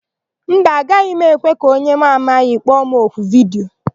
Mba, agaghị m ekwe ka onye mụ amaghị kpọ m oku vidiyo.